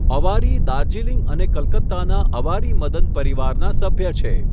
અવારી દાર્જિલિંગ અને કલકત્તાના અવારી મદન પરિવારના સભ્ય છે.